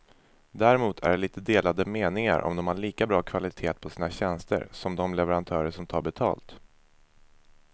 Däremot är det lite delade meningar om de har lika bra kvalitet på sina tjänster som de leverantörer som tar betalt.